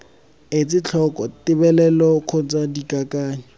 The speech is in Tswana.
etse tlhoko tebelelo kgotsa dikakanyo